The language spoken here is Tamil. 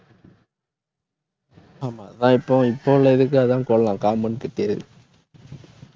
ஆமா தா~ இப்போ இப்போ உள்ளதுக்கு அதான் compound கட்டியது